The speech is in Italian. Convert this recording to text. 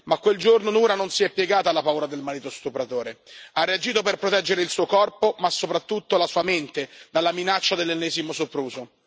Ma quel giorno Noura non si è piegata alla paura del marito stupratore, ha reagito per proteggere il suo corpo, ma soprattutto la sua mente dalla minaccia dell'ennesimo sopruso.